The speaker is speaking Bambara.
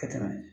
Ka tɛmɛ